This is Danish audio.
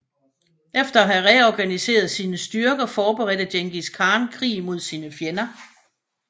Efter at have reorganiseret sine styrker forberedte Djengis Khan krig mod sine fjender